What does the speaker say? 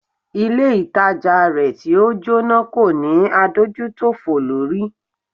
Ilé ìtajà rẹ̀ tí o Jóná kò ní adójútòfò lórí.